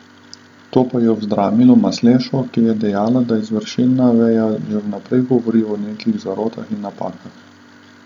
To pa je vzdramilo Maslešo, ki je dejal, da izvršilna veja že vnaprej govori o nekih zarotah in napakah.